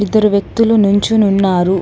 ఇద్దరు వ్యక్తులు నించుని ఉన్నారు.